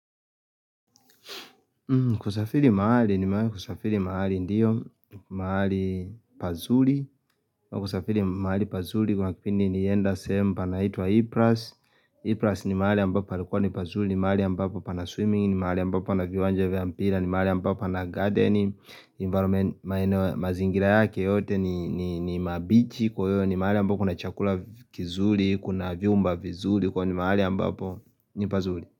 Kusafiri mahali, kusafiri mahali ndiyo mahali pazuli kusafiri mahali pazuli kumakifini ni enda semu panahitwa Ipras Ipras ni mahali ambapo palikwa ni pazuli ni mahali ambapo pana swimming ni mahali ambapo pana viwanje vampira ni mahali ambapo pana garden ni mbaro mazingira yake yote ni mabichi ni mahali ambapo kuna chakula kizuli Kuna viumba vizuli Kwa ni mahali ambapo ni pazuli.